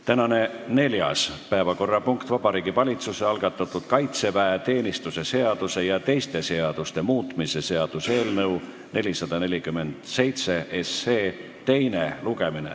Tänane neljas päevakorrapunkt on Vabariigi Valitsuse algatatud kaitseväeteenistuse seaduse ja teiste seaduste muutmise seaduse eelnõu 447 teine lugemine.